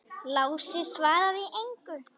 Lási svaraði engu.